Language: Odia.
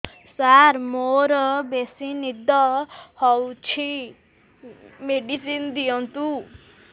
ସାର ମୋରୋ ବେସି ନିଦ ହଉଚି ମେଡିସିନ ଦିଅନ୍ତୁ